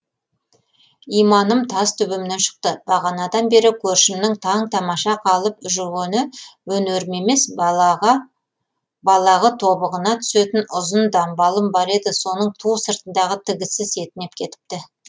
иманым тас төбемнен шықты бағанадан бері көршімнің таң тамаша қалып жүргені өнерім емес балағы балағы тобығына түсетін ұзын дамбалым бар еді соның ту сыртындағы тігісі сетінеп кетіпті